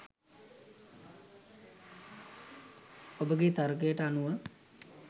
ඔබගේ තර්කයට අනුව